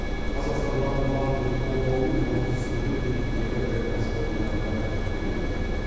қазақстан даму банкінің қолдауымен отыз студент еліміздегі ірі кәсіпорындарда тәжірибеден өтуде